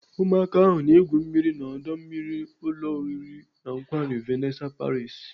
Ụmụaka ahụ na-egwu mmiri n'ọdọ mmiri ụlọ oriri na nkwari Vanessa Paris.